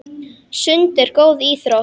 Sund er góð íþrótt.